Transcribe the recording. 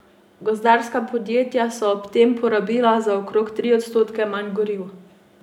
Gozdarska podjetja so ob tem porabila za okoli tri odstotke manj goriv.